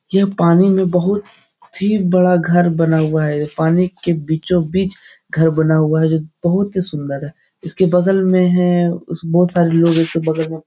यह पानी में बहुत ही बड़ा घर बना हुआ है पानी के बीचों-बीच घर बना हुआ है ये बहुत ही सुन्दर है इसके बगल में है उसमे बोहोत सारे लोग है उसके बगल में।